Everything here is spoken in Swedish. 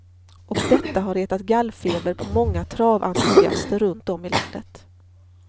Och detta har retat gallfeber på många traventusiaster runt om i landet.